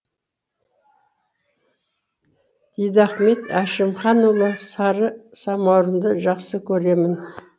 дидахмет әшімханұлы сары самаурынды жақсы көремін